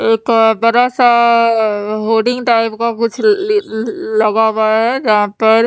एक बड़ा सा टाइप का कुछ लगा हुआ है जहा पर --